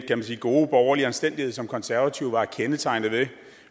gode borgerlige anstændighed som de konservative var kendetegnet ved